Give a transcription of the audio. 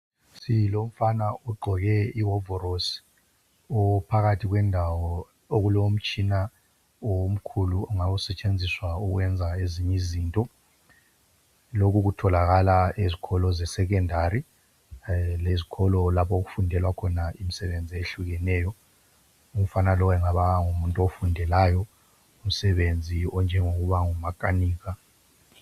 Umfana ogqoke iwovorosi ophakathi kwendawo okulomtshina omkhulu ongabe usetshenziswa ukwenza ezinye izinto. lokhu kutholakala ezikolo zesecondary lezikolo lapho okufundelwa khona imisebenzi ehlukeneyo. Umfana lowu engaba ngumuntu ofundelayo umsebenzi onjengowokuba ngumakanika.